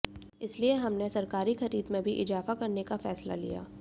इसीलिए हमने सरकारी खरीद में भी इजाफा करने का फैसला लिया